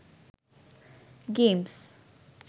games